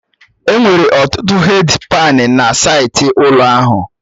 Enwere ọtụtụ hèdi pani na saịtị ụlọ ahụ